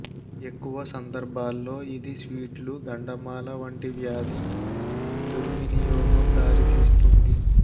ఎక్కువ సందర్భాల్లో ఇది స్వీట్లు గండమాల వంటి వ్యాధి దుర్వినియోగం దారితీస్తుంది